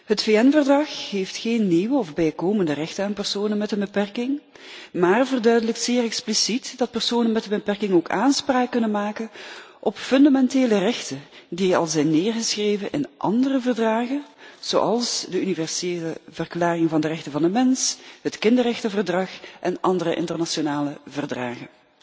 Het VN verdrag geeft geen nieuwe of bijkomende rechten aan personen met een beperking, maar verduidelijkt zeer expliciet dat personen met een beperking ook aanspraak kunnen maken op fundamentele rechten die al zijn neergeschreven in andere verdragen, zoals de Universele Verklaring van de Rechten van de Mens, het Kinderrechtenverdrag en andere internationale verdragen.